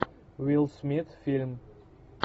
уилл смит фильм